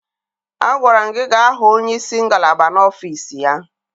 Agwara m gị gaa hụ onye isi ngalaba n'ọfiisi ya!